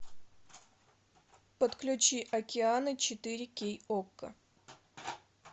подключи океаны четыре кей окко